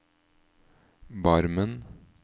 Barmen